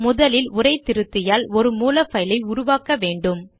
முதலில் உரை திருத்தியால் ஒரு மூல பைலை உருவாக்க வேண்டும்